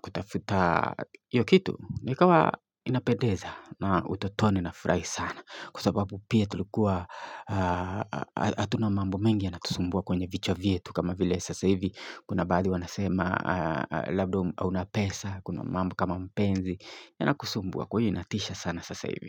kutafuta hiyo kitu, ni kama inapendeza na utotoni na furahi sana kwa sababu pia tulikuwa hatuna mambo mengi yanatusumbua kwenye vichwa vyetu kama vile sasa hivi Kuna baadhi wanasema labda hauna pesa Kuna mambo kama mapenzi yanakusumbua kwa hiyo yanatisha sana sasa hivi.